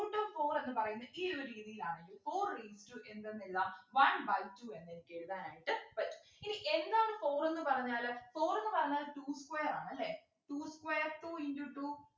Root of four എന്നു പറയുന്നെ ഈ ഒരു രീതിയിലാന്നെങ്കിൽ four raised to എന്തെന്ന് എഴുതാം one by two എന്നെനിക്ക് എഴുതാനായിട്ട് പറ്റും ഇനി എന്താണ് four എന്നു പറഞ്ഞാല് four എന്നു പറഞ്ഞാൽ two square ആണല്ലേ two square two into two